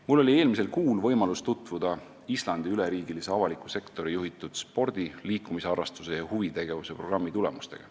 Mul oli eelmisel kuul võimalus tutvuda Islandi üleriigilise avaliku sektori juhitud spordi, liikumisharrastuse ja huvitegevuse programmi tulemustega.